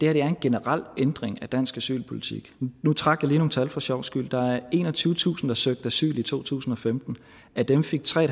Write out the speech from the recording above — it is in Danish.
er en generel ændring af dansk asylpolitik nu trak jeg lige nogle tal for sjovs skyld der var enogtyvetusind der søgte asyl i to tusind og femten af dem fik tre